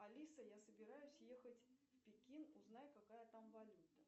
алиса я собираюсь ехать в пекин узнай какая там валюта